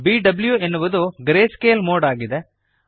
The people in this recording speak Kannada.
ಬಿಡಬ್ಲ್ಯೂ ಎನ್ನುವುದು ಗ್ರೇಸ್ಕೇಲ್ ಮೋಡ್ ಆಗಿದೆ